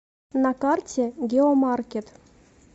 на карте геомаркет